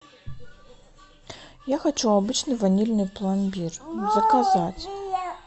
я хочу обычный ванильный пломбир заказать